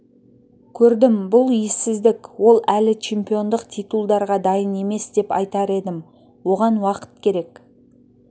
көрдім бұл ессіздік ол әлі чемпиондық титулдарға дайын емес деп айтар едім оған уақыт керек